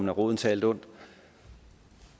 er roden til alt ondt